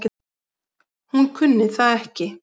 Hún kunni það ekki.